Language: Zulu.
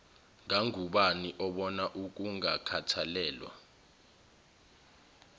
ngangubani obona ukungakhathalelwa